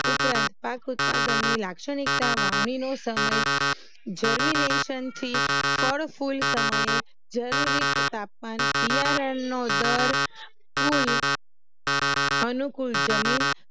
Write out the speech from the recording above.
ઉપરાંત પાક ઉત્પાદનની લાક્ષણિકતા વાવણીનો સમય જર્મિનેસન થી ફળ ફૂલ સમયે જરૂરી તાપમાન બિયારણનો દર કુલ અનુકુળ જમીન